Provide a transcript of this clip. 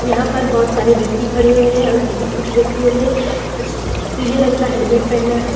यहाँ पर बहुत सारे व्यक्ति खड़े हुए है कुछ व्यक्तियों ने पिले रंग का हेलमेट पहना है ।